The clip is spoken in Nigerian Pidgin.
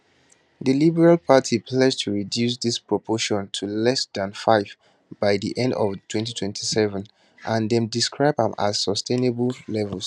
di liberal party pledge to reduce dis proportion to less dan 5 by di end of 2027 and dem describe am as sustainable levels